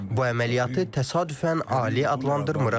Bu əməliyyatı təsadüfən ali adlandırmırıq.